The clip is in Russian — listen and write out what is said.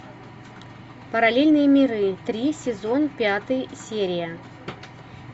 параллельные миры три сезон пятый серия